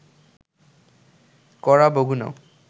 ‘কড়া’ বগুণো